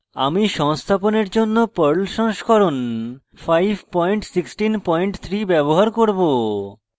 সংস্থাপনের জন্য perl সংস্করণ 5163 ব্যবহার করব